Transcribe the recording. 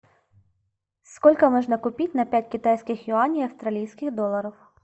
сколько можно купить на пять китайских юаней австралийских долларов